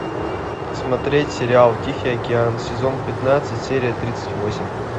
смотреть сериал тихий океан сезон пятнадцать серия тридцать восемь